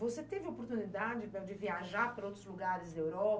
Você teve oportunidade para viajar para outros lugares da